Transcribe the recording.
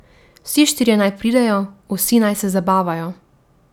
Vsi štirje naj pridejo, vsi naj se zabavajo.